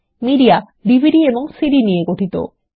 media DVD এবং CD নিয়ে গঠিত